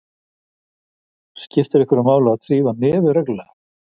Skiptir einhverju máli að þrífa nefið reglulega?